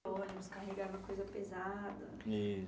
O ônibus carregava coisa pesada. Isso.